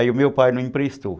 Aí o meu pai não emprestou.